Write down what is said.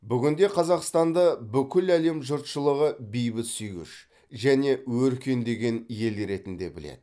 бүгінде қазақстанды бүкіл әлем жұртшылығы бейбітсүйгіш және өркендеген ел ретінде біледі